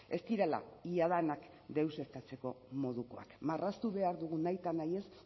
ez direla ia denak deuseztatzeko modukoak marraztu behar dugun nahitanahiez